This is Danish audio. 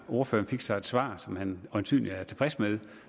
ordføreren fik så et svar som han øjensynlig var tilfreds med